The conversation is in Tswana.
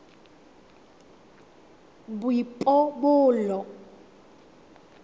boipobolo